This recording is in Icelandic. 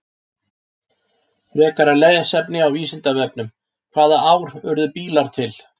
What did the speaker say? Frekara lesefni á Vísindavefnum: Hvaða ár urðu bílar til?